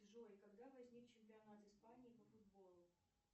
джой когда возник чемпионат испании по футболу